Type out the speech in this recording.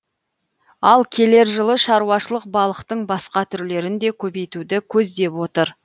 ал келер жылы шаруашылық балықтың басқа түрлерін де көбейтуді көздеп отыр